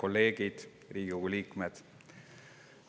Riigikogu liikmed!